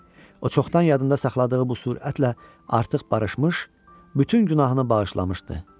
O çoxdan yadında saxladığı bu surətlə artıq barışmış, bütün günahını bağışlamışdı.